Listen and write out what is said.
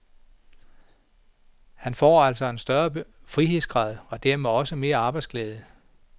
Han får altså en større frihedsgrad og dermed også mere arbejdsglæde.